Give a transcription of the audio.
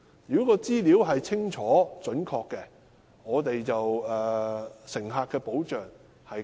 如果資料清楚準確，對乘客會有更好的保障。